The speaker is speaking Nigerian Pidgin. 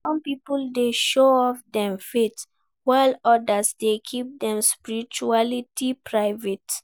Some people dey show off dem faith, while others dey keep dem spirituality private.